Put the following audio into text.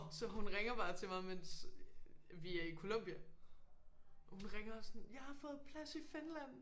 Så hun ringer bare til mig mens vi er i Columbia og hun ringer sådan jeg har fået plads i Finland